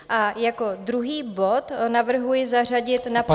A jako druhý bod navrhuji zařadit na program -